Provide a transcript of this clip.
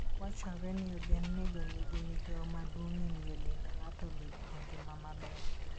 Wachore ni ogendinigo nigi migawo maduong ' e miyo dend ng'ato obed gi ngima maber.